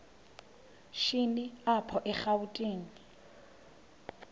shini apho erawutini